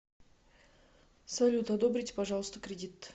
салют одобрите пажалоста кредит